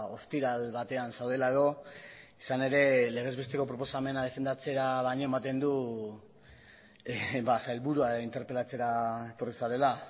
ostiral batean zaudela edo izan ere legez besteko proposamena defendatzera baino ematen du sailburua interpelatzera etorri zarela